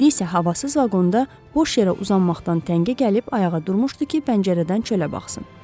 İndi isə havasız vaqonda boş yerə uzanmaqdan təngə gəlib ayağa durmuşdu ki, pəncərədən çölə baxsın.